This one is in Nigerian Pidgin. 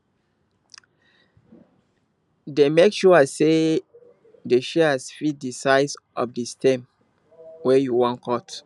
dey make sure say di shears fit di size of di stem wey you wan cut